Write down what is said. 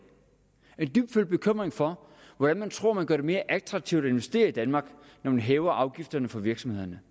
er en dybtfølt bekymring for hvordan man tror at man gør det mere attraktivt at investere i danmark når man hæver afgifterne for virksomhederne